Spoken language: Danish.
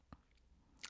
DR1